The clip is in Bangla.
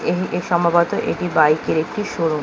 এই এ সম্ভবত এইটি বাইক -র একটি শোরুম ।